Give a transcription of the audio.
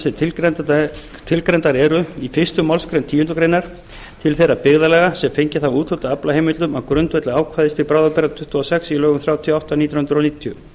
sem tilgreindar eru í fyrstu málsgreinar tíundu greinar til þeirra byggðarlaga sem fengið hafa úthlutað aflaheimildum á grundvelli ákvæðis til bráðabirgða tuttugu og sex í lögum númer þrjátíu og átta nítján hundruð níutíu